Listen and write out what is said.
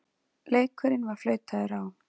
Leikurinn var flautaður á.